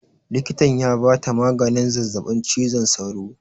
Likitan ya ba ta maganin zazzaɓin cizon sauro